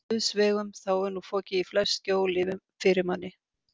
Guðs vegum þá er nú fokið í flest skjól fyrir manni!